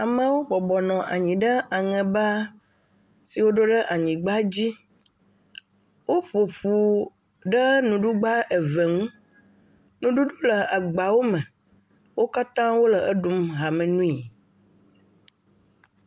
Amewo bɔbɔ nɔ anyi ɖe aŋɛba siwo ɖo ɖe anyigba la dzi. Woƒoƒu ɖe nuɖugba eve ŋu, nuɖuɖu le agbawo me. Wo kata wole eɖum hame nuie.